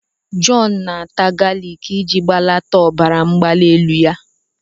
John na-ata galik iji belata ọbara mgbali elu ya.